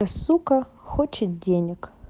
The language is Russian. сука хочет денег